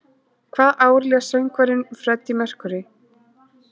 Hvaða ár lést söngvarinn Freddie Mercury?